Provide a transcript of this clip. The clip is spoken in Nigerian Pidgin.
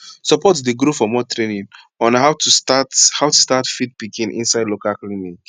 support dey grow for more training on how to start how to start feed pikin inside local clinic